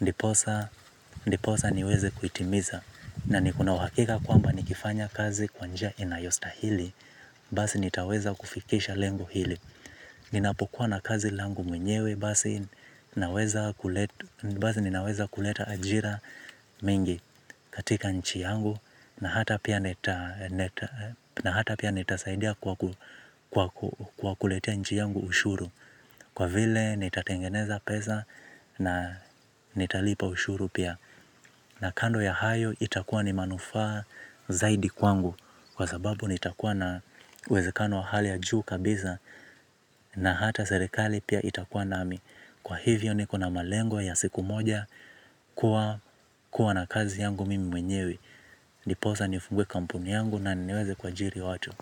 Ndiposa niweze kuitimiza. Na niko na uwakika kwamba nikifanya kazi kwanja inayosta hili. Basi nitaweza kufikisha lengo hili. Ninapokuwa na kazi langu mwenyewe basi ninaweza kuleta ajira mingi katika nchi yangu. Na hata pia nitasaidia kwa kuletea nchi yangu ushuru. Kwa vile nitatengeneza pesa na nitalipa ushuru pia. Na kando ya hayo itakuwa ni manufaa zaidi kwangu. Kwa sababu nitakuwa na uwezekano ahali ya juu kabisa. Na hata serekali pia itakuwa nami. Kwa hivyo niko na malengo ya siku moja. Kua na kazi yangu mimi mwenyewe. Niposa nifungue kampuni yangu na niniweze kuajiri watu.